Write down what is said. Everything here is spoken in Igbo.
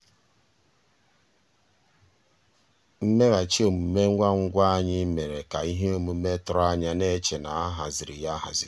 mmèghàchị́ òmùmé ngwá ngwá ànyị́ ànyị́ mérè ká íhé òmùmé tụ̀rụ̀ ànyá ná-èchè ná á hàzírí yá áhàzí.